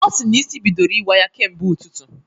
Ọ sịrị na isi bidoro iwa ya kemgbe ụtụtụ